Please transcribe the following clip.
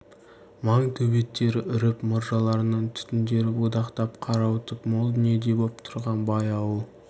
маң төбеттері үріп мұржаларынан түтіндері будақтап қарауытып мол дүниедей боп тұрған бай ауыл